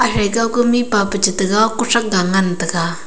atre kao ko mihpa peche te kao ko sang ga ngan tega.